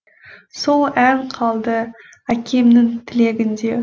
сол ән қалды әкемнің тілегінде